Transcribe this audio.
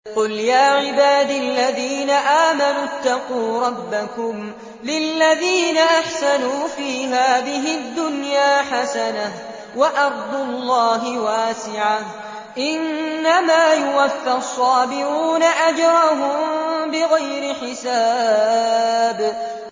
قُلْ يَا عِبَادِ الَّذِينَ آمَنُوا اتَّقُوا رَبَّكُمْ ۚ لِلَّذِينَ أَحْسَنُوا فِي هَٰذِهِ الدُّنْيَا حَسَنَةٌ ۗ وَأَرْضُ اللَّهِ وَاسِعَةٌ ۗ إِنَّمَا يُوَفَّى الصَّابِرُونَ أَجْرَهُم بِغَيْرِ حِسَابٍ